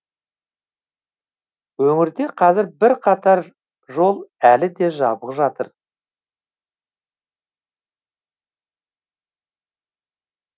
өңірде қазір бірқатар жол әлі де жабық жатыр